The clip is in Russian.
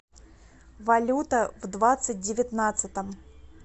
валюта в двадцать девятнадцатом